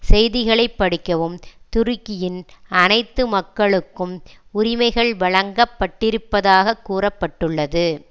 செய்திகளை படிக்கவும் துருக்கியின் அனைத்து மக்களுக்கும் உரிமைகள் வழங்க பட்டிருப்பதாக கூற பட்டுள்ளது